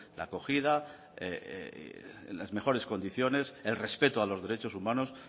la acogida en las mejores condiciones el respeto a los derechos humanos